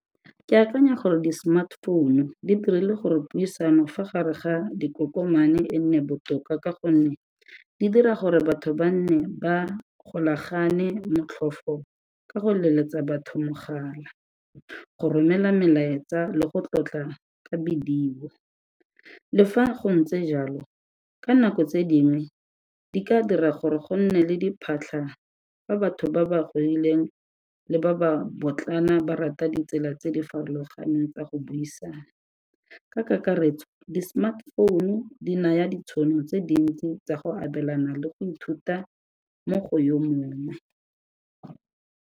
Ke akanya gore di-smart phone-u di dirile gore puisano fa gare ga dikokomane e nne botoka ka gonne di dira gore batho ba nne ba golagane motlhofo ka go leletsa batho mogala, go romela melaetsa le go tlotla ka video. Le fa go ntse jalo ka nako tse dingwe di ka dira gore go nne le diphatlha fa batho ba ba godileng le ba ba potlana ba rata ditsela tse di farologaneng tsa go buisana, ka kakaretso di-smart phone-u di naya ditšhono tse dintsi tsa go abelana le go ithuta mo go yo mongwe.